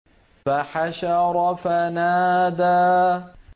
فَحَشَرَ فَنَادَىٰ